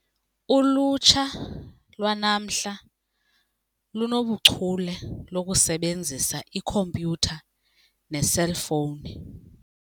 Ulutsha lwanamhla lungachule okusebenzisa ikhompyutha neeselfowuni.